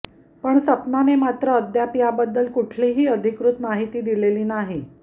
पण सपनाने मात्र अद्याप याबद्दल कुठलीही अधिकृत माहिती दिलेली नाही